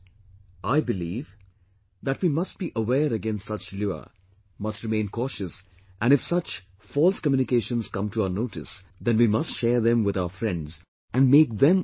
I believe that we must be aware against such lure, must remain cautious and if such false communications come to our notice, then we must share them with our friends and make them aware also